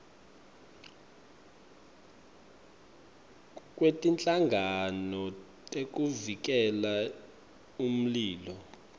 kwetinhlangano tekuvikela umlilo